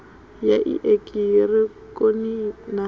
ya i eki hironiki na